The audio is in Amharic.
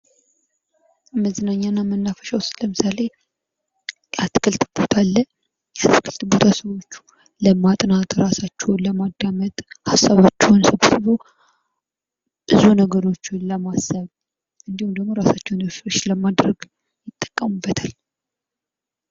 መዝናኛ እና መናፈሻ ውስጥ ለምሳሌ የአትክልት ቦታ አለ ። የአትክልት ቦታ ሰዎች ለማጥናት ፣ ራሳቸውን ለማዳመጥ ፣ ሀሳባቸውን ሰብስበው ብዙ ነገሮችን ለማሰብ እንዲሁም ራሳቸውን " ሪፍሬሽ " ለማድረግ ይጠቀሙበታል ።